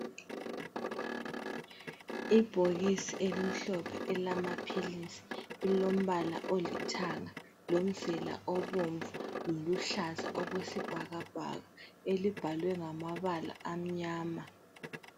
Ibhokisi elimhlophe elamaphilisi elombala olithanga lomzila obomvu loluhlaza okwesibhakabhaka elibhalwe ngamabala amnyama.